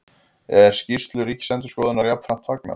Er skýrslu Ríkisendurskoðunar jafnframt fagnað